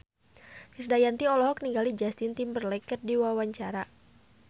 Krisdayanti olohok ningali Justin Timberlake keur diwawancara